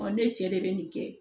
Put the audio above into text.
ne cɛ de bɛ nin kɛ